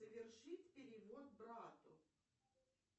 совершить перевод брату